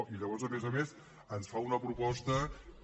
i llavors a més a més ens fa una proposta que